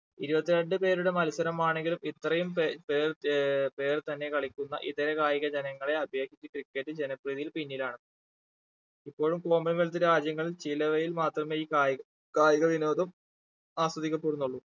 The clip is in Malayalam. ഇരുപത്തി രണ്ട് പേരുടെ മത്സരമാണെങ്കിലും ഇത്രയും പേ പേർ ഏർ പേർ തന്നെ കളിക്കുന്ന ഇതര കായിക ജനങ്ങളെ അപേക്ഷിച്ച് cricket ജനപ്രീതിയിൽ പിന്നിലാണ് ഇപ്പോഴും common wealth രാജ്യങ്ങളിൽ ചിലവഴിൽ മാത്രമേ ഈ കായിക ആഹ് കായിക വിനോദം ആസ്വദിക്കപ്പെടുന്നുള്ളൂ